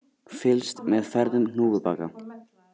Fylgst með ferðum hnúfubaka